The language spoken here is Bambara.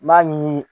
N b'a ɲini